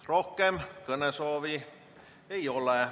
Rohkem kõnesoove ei ole.